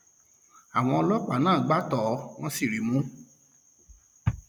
àwọn ọlọpàá náà gbá tọ ọ wọn sì rí i mú